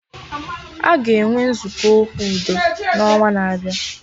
Aga enwe Nzukọ Okwu udo na onwa na-abịa